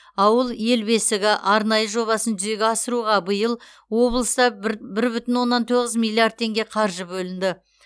ауыл ел бесігі арнайы жобасын жүзеге асыруға биыл облыста бір бір бүтін оннан тоғыз миллиард теңге қаржы бөлінді